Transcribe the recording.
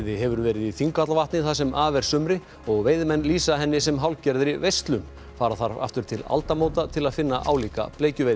hefur verið í Þingvallavatni það sem af er sumri og veiðimenn lýsa henni sem hálfgerðri veislu fara þarf aftur til aldamóta til að finna álíka bleikjuveiði